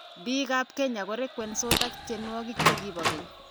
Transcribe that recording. Biikab Kenya ko rekwensot ak tienwokik che bo keny.